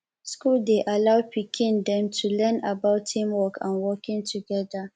school dey allow pikin dem to learn about team work and working together